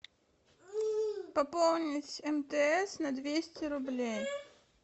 пополнить мтс на двести рублей